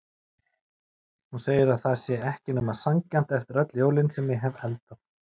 Hún segir að það sé ekki nema sanngjarnt eftir öll jólin sem ég hef eldað.